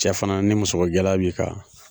Cɛ fana ni musokogɛlɛya b'i kan.